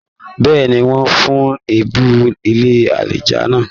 Bẹ́ẹ̀ni, wọn fún l'ẹbùn ilé alájá náà.